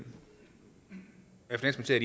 er